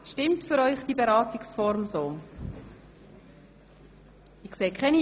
Stimmt diese Beratungsform für Sie?